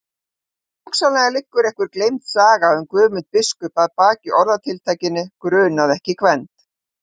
Hugsanlega liggur einhver gleymd saga um Guðmund biskup að baki orðatiltækinu grunaði ekki Gvend.